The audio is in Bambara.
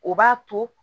O b'a to